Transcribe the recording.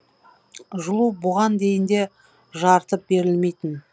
жылу бұған дейін де жарытып берілмейтін